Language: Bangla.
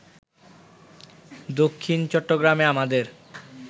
দক্ষিণ চট্টগ্রামে আমাদের